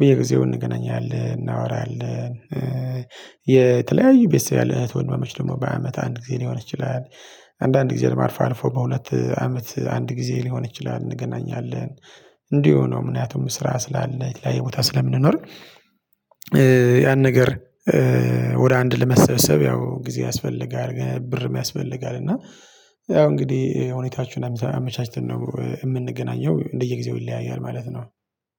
በየጊዜው እንገናኛለን እናወራለን። የተለያዩ ቤተሰብ ያለህ እህት ወንድማማች ደግሞ በአመት አንድ ጊዜ ሊሆን ይችላል አንዳንድ ጊዜ ለመር አልፋ አልፎ በሁለት አመት አንድ ጊዜ ሊሆን ይችላል እንገናኛለን። እንዲሁ ነው ምክንያቱምን ስራ ስላለ የቦታ ስለምንኖር እእ ያን ነገር እ ወደ አንድ ለመሰብሰብ ያው ጊዜ ያስፈልጋል ብርም ያስፈልጋል። እና ያው እንግዲህ ሁኔታችሁን አመቻችተን ነው የምንገናኘው እንደየጊዜው ይለያያል ማለት ነው